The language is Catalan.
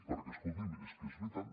perquè escolti’m és que és veritat